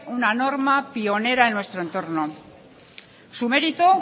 una norma pionera en nuestro entorno su mérito